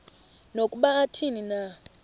nokuba athini na